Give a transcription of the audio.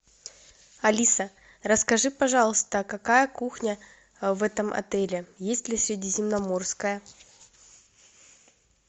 алиса расскажи пожалуйста какая кухня в этом отеле есть ли средиземноморская